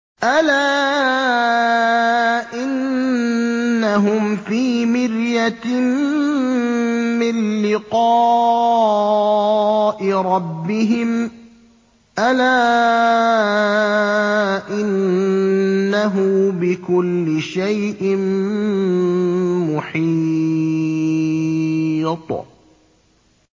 أَلَا إِنَّهُمْ فِي مِرْيَةٍ مِّن لِّقَاءِ رَبِّهِمْ ۗ أَلَا إِنَّهُ بِكُلِّ شَيْءٍ مُّحِيطٌ